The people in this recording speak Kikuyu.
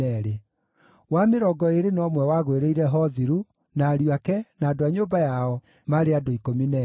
wa mĩrongo ĩĩrĩ na ũmwe wagũĩrĩire Hothiru, na ariũ ake, na andũ a nyũmba yao, maarĩ andũ 12;